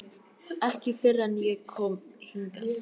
Ekki fyrr en ég kom hingað.